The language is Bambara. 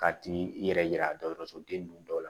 Ka t'i yɛrɛ yira dɔgɔtɔrɔsoden ninnu dɔw la